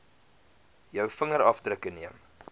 jou vingerafdrukke neem